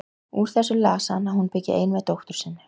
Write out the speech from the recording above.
Úr þessu las hann að hún byggi ein með dóttur sinni.